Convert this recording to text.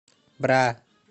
бра